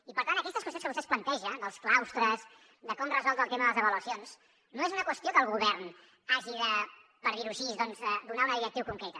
i per tant aquestes qüestions que vostè ens planteja dels claustres de com resoldre el tema de les avaluacions no són unes qüestions en què el govern hagi de per dir ho així doncs donar una directriu concreta